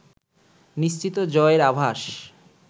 নিশ্চিত জয়ের আভাস